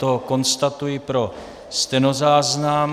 To konstatuji pro stenozáznam.